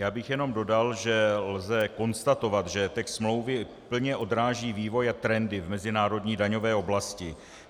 Já bych jen dodal, že lze konstatovat, že text smlouvy plně odráží vývoj a trendy v mezinárodní daňové oblasti.